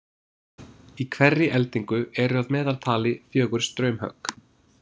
Í hverri eldingu eru að meðaltali fjögur straumhögg.